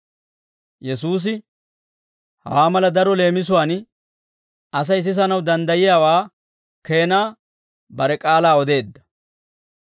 Yesuusi hawaa mala daro leemisuwaan Asay sisanaw danddayiyaawaa keenaa, bare k'aalaa odeedda.